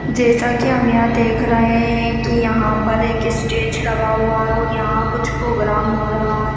जैसा की हम यहाँ देख रहे है की यहाँ पर एक स्टेज लगा हुआ है और यहाँ कुछ प्रोग्राम हो रहा है।